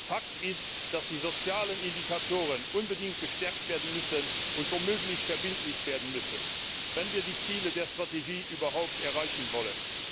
Fakt ist, dass die sozialen Indikatoren unbedingt gestärkt und womöglich verbindlich werden müssen, wenn wir die Ziele der Strategie überhaupt erreichen wollen.